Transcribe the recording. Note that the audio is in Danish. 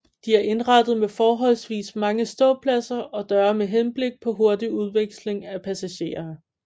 De er indrettet med forholdsvis mange ståpladser og døre med henblik på hurtig udveksling af passagerer